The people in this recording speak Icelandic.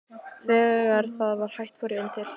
Þegar það var hætt fór ég inn til